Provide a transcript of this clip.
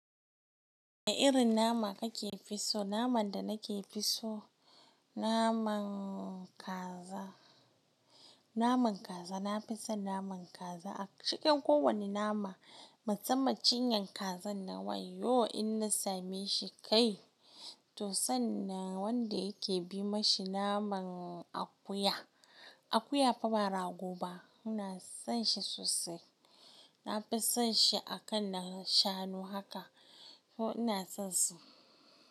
Wane irin nama kake fi so? Naman da nake fi so naman kaza. Naman kaza, na fi son naman kaza. A cikin kowane nama, musamman cinyan kazar nan, wayyo in na same shi kai! Tuh san nan wanda yake bi ma shi naman akuya. Akuya fa ba rago ba. Ina son shi sosai. Na fi son shi akan na shanu haka. Yo ina son su.